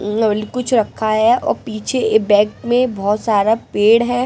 कुछ रखा है और पीछे एक बैग में बहुत सारा पेड़ है।